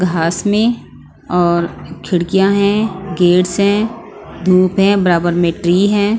घास में और खिड़कियाँ हैं गेट्स हैं धूप है बराबर में ट्री है।